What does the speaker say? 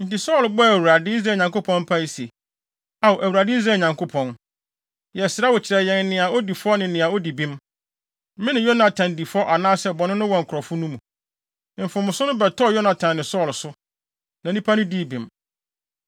Enti Saulo bɔɔ Awurade, Israel Nyankopɔn, mpae se, “Ao Awurade Israel Nyankopɔn, yɛsrɛ wo kyerɛ yɛn nea odi fɔ ne nea odi bem. Mene Yonatan di fɔ anaasɛ bɔne no wɔ nkurɔfo no mu? Mfomso no bɛtɔɔ Yonatan ne Saulo so, na nnipa no dii bem.”